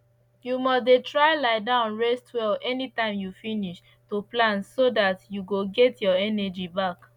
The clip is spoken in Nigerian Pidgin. you must dey try lie down rest well anytime you finish to plant so dat you go get your energy back